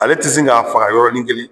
Ale tɛ sin k'a faga yɔrɔnin kelen